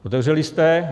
Otevřeli jste.